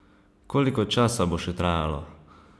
Koliko časa bo še trajalo?